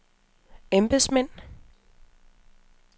embedsmænd